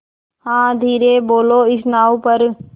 हाँ धीरे बोलो इस नाव पर